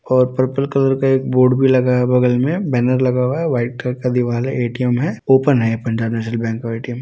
और purple colour का एक बोर्ड भी लगा है बगल में बैनर लगा हुआ है व्हाइट कलर का दीवार है ए.टी.एम. है ओपन है पंजाब नेशनल बैंक का ए.टी.एम. --